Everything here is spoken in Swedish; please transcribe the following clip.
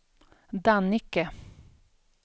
Dannike